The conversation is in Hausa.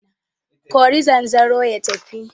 Kori zanzaro ya tafi!